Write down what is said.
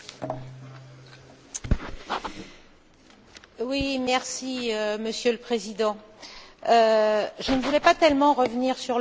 Monsieur le Président, je ne voulais pas tellement revenir sur le passé, mais j'entends des interventions surprenantes.